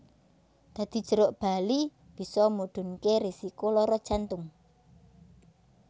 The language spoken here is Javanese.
Dadi jeruk bali bisa mudhunké risiko lara jantung